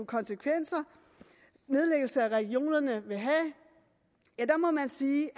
konsekvenser nedlæggelse af regionerne vil have må man sige